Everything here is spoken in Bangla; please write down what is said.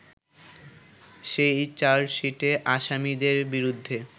সেই চার্জশিটে আসামীদের বিরুদ্ধে